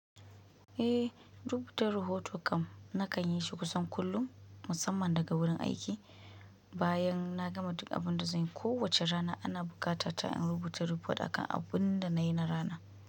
Eh, rubutar rahoton kam na kan yi shi kusan kullum musamman daga wurin aiki. Bayan na gama duk abin da zanyi, kowace rana ana buƙata ta in rubuta rafot akan abun da nayi na rana.